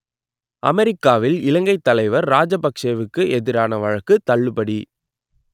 அமெரிக்காவில் இலங்கைத் தலைவர் ராஜபக்‌ஷேவுக்கு எதிரான வழக்கு தள்ளுபடி